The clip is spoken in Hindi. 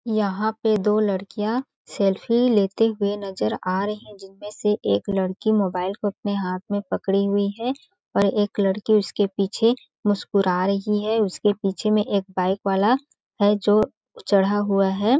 यहाँ पे दो लड़किया सेल्फी लेते हुए नजर आ रही हे जिसमे एक लड़की मोबाइल को अपने हाथो में पड़के हुए हे और एक लड़की उसके पीछे मुस्कुरा रही हे उसके पीछे में एक पाइप वाला हे जो चढ़ा हुआ हैं।